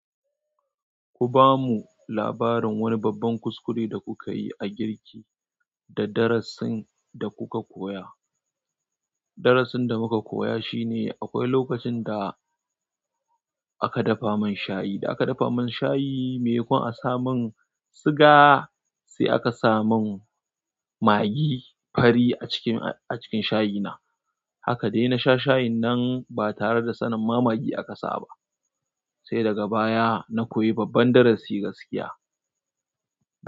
Ku ba mu labarin wani babban kuskure da kuka yi a girki da darasin da kuka koya. Darasin da muka koya shine akwai lokacin da aka dafa mun shayi, da aka dafa mun shayi, mai makon a samun siga sai aka samun magi fari a cikin, a cikin shayi na. Haka dai na sha shayin nan ba tare da sanin ma magi aka sa ba, sai daga baya na koyi babban darasi gaskiya.